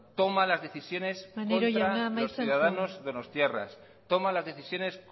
toma las decisiones contra los ciudadanos maneiro jauna amaitzen joan contra los ciudadanos donostiarras toma las decisiones